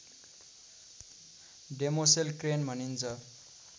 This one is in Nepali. डेमोसेल क्रेन भनिन्छ